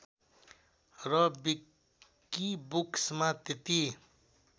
र विकिबुक्समा त्यति